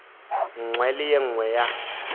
nngwe le ye nngwe ya